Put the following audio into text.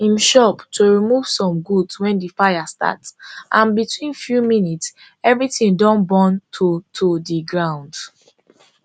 im shop to remove some goods wen di fire start and between few minutes everything don burn to to di ground